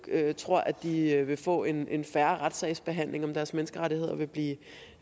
tror de vil få en en fair retssagsbehandling om deres menneskerettigheder vil blive